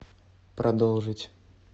продолжить